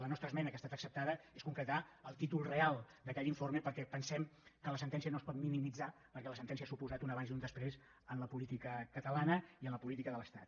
la nostra esmena que ha estat acceptada és per concretar el títol real d’aquell informe perquè pensem que la sentència no es pot minimitzar perquè la sentència ha suposat un abans i un després en la política catalana i en la política de l’estat